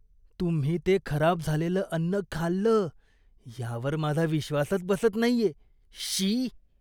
तुम्ही ते खराब झालेलं अन्न खाल्लं यावर माझा विश्वासच बसत नाहीये. श्शी!